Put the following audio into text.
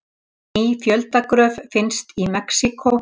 Ný fjöldagröf finnst í Mexíkó